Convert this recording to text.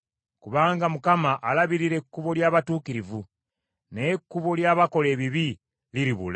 Kubanga Mukama alabirira ekkubo ly’abatuukirivu, naye ekkubo ly’abakola ebibi liribula.